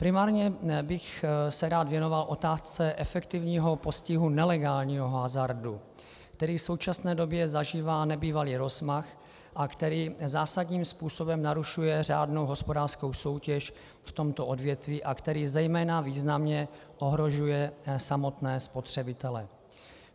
Primárně bych se rád věnoval otázce efektivního postihu nelegálního hazardu, který v současné době zažívá nebývalý rozmach a který zásadním způsobem narušuje řádnou hospodářskou soutěž v tomto odvětví a který zejména významně ohrožuje samotné spotřebitele.